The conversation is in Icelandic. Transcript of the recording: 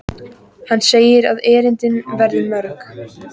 Hann segir að erindin verði mörg.